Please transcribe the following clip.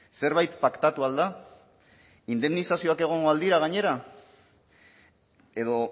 zerbait paktatu al da indemnizazioak egongo al dira gainera edo